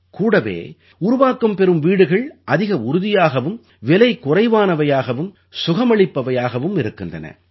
கூடவே உருவாக்கம் பெறும் வீடுகள் அதிக உறுதியாகவும் விலை குறைவானவையாகவும் சுகமளிப்பவையாகவும் இருக்கின்றன